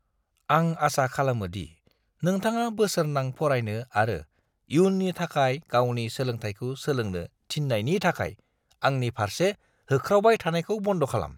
आं आसा खालामो दि नोंथाङा बोसोरनां फरायनो आरो इयुननि थाखाय गावनि सोलोंथायखौ सोलोंनो थिननायनि थाखाय आंनि फारसे होख्रावबाय थानायखौ बन्द' खालाम।